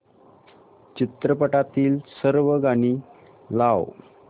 चित्रपटातील सर्व गाणी लाव